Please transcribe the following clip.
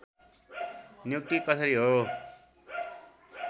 नियुक्ति कसरी हो